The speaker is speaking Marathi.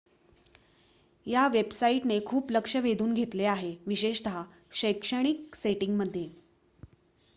या वेबसाईट ने खूप लक्ष वेधून घेतले आहे विशेषत शैक्षणिक सेटिंग मध्ये